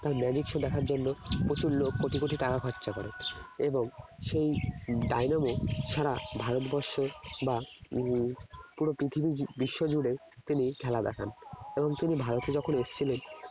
তার magic show দেখার জন্য প্রচুর লোক কোটি কোটি টাকা খরচা করে এবং সেই ডায়নামো সারা ভারতবর্ষ বা উম পুরো পৃথিবী বিশ্ব জুড়ে তিনি খেলা দেখান এবং তিনি ভারতে যখন এসেছিলেন